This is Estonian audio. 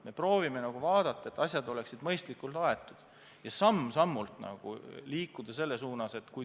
Me proovime vaadata, et asjad oleksid mõistlikult aetud, ja samm-sammult liikuda selles suunas.